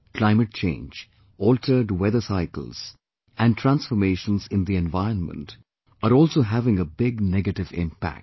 Climate change, altered weather cycles, and transformations in the environment, are also having a big negative impact